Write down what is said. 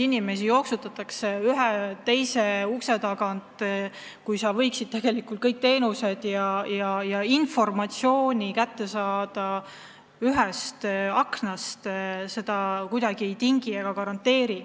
Inimesi jooksutatakse ühe ukse tagant teise ukse taha, kui tegelikult võiks kogu informatsiooni teenuste kohta kätte saada piltlikult öeldes ühest aknast.